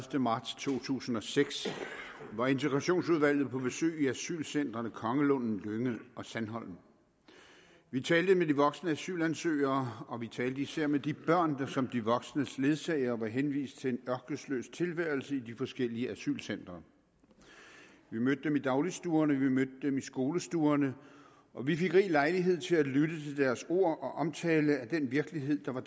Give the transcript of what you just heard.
marts to tusind og seks var integrationsudvalget på besøg i asylcentrene kongelunden lynge og sandholm vi talte med de voksne asylansøgere og vi talte især med de børn der som de voksnes ledsagere var henvist til en ørkesløs tilværelse i de forskellige asylcentre vi mødte dem i dagligstuerne vi mødte dem i skolestuerne og vi fik rig lejlighed til at lytte til deres ord og omtale af den virkelighed der var